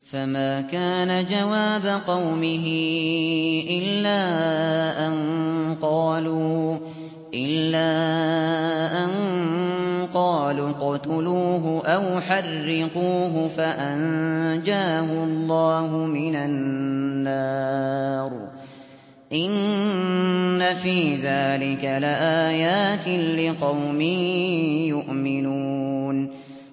فَمَا كَانَ جَوَابَ قَوْمِهِ إِلَّا أَن قَالُوا اقْتُلُوهُ أَوْ حَرِّقُوهُ فَأَنجَاهُ اللَّهُ مِنَ النَّارِ ۚ إِنَّ فِي ذَٰلِكَ لَآيَاتٍ لِّقَوْمٍ يُؤْمِنُونَ